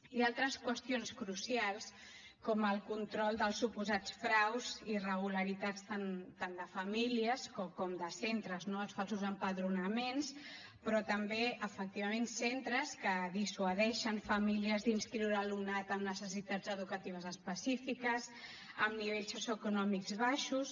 i altres qüestions crucials com el control dels suposats fraus irregularitats tant de famílies com de centres no els falsos empadronaments però també efectivament centres que dissuadeixen famílies d’inscriure alumnat amb necessitats educatives específiques amb nivells socioeconòmics baixos